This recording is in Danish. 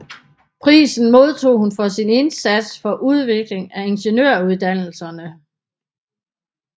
Prisen modtog hun for sin indsats for udvikling af ingeniøruddannelserne